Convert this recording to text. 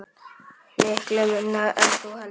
Miklu minna en þú heldur.